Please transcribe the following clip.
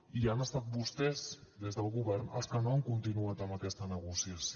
i han estat vostès des del govern els que no han continuat amb aquesta negociació